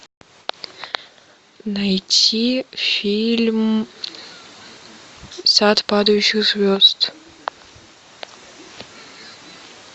найти фильм сад падающих звезд